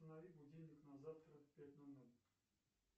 установи будильник на завтра пять ноль ноль